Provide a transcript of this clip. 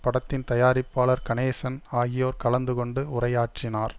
படத்தின் தயாரிப்பாளர் கணேசன் ஆகியோர் கலந்து கொண்டு உரையாற்றினார்